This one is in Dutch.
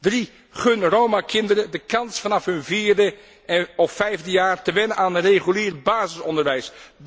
Drie gun Roma kinderen de kans vanaf hun vierde of vijfde jaar te wennen aan een regulier basisonderwijs.